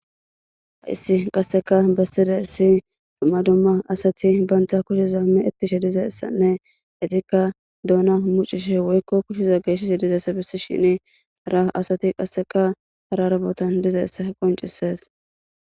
hayssi qasseka besside essi dumma dumma asati bantha kushe zaamme ittishe diza issanne itikka duona mucishe woykko kusheza geeysis dizayssa bissi shini ara asati qasseka hara rabotan diza essa qoncisees